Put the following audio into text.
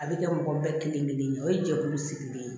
A bɛ kɛ mɔgɔ bɛɛ kelen kelen ye o ye jɛkulu sigilen ye